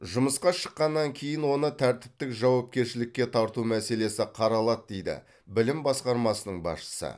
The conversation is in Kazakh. жұмысқа шыққаннан кейін оны тәртіптік жауапкершілікке тарту мәселесі қаралады дейді білім басқармасының басшысы